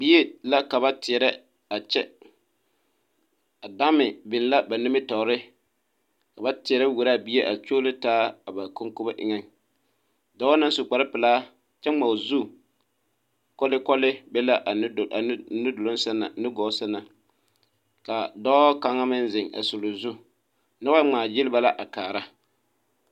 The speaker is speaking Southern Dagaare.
Bie la ka ba teɛrɛ a kyɛ a Dame biŋ l,a ba nimitɔɔre ka ba teɛrɛ wuoro a bie a kyuoro taa a ba konkobo eŋɛ dɔɔ naŋ su kparepelaa kyɛ ŋma o zu kɔlekɔle be la a nudoloŋ a nudoloŋ seŋ na a nugɔɔ seŋ na ka dɔɔ kaŋ meŋ zeŋ a suli o zu noba ŋmaagyili ba la a kaara.